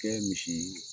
Kɛ misi